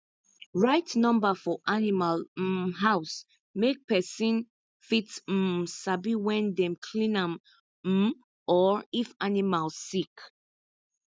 write number for animal um house make person fit um sabi when dem clean am um or if animal sick